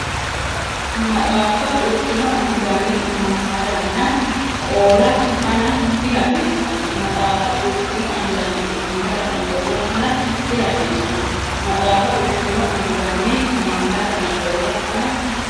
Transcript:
Maxaafa xurtino anganni amammadanna qoolla fana dihasiissanno Maxaafa xurtino anganni amammadanna qoolla fana dihasiissanno Maxaafa xurtino anganni amammadanna qoolla fana.